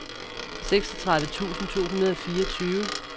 seksogtredive tusind to hundrede og fireogtyve